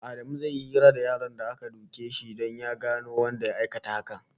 Adamu zai yi hira da yaron da aka duke shi don ya gano wanda suka aikata haka